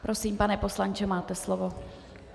Prosím, pane poslanče, máte slovo.